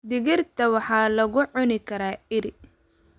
Digirta waxaa lagu cuni karaa iri.